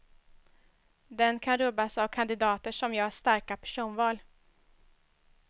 Den kan rubbas av kandidater som gör starka personval.